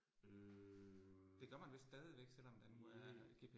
Øh. Det